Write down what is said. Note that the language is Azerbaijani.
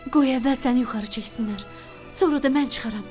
Qoy əvvəl səni yuxarı çəksinlər, sonra da mən çıxaram.